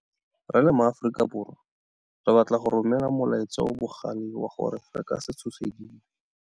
Re le maAforika Borwa, re batla go romela molaetsa o o bogale wa gore re ka se tshosediwe.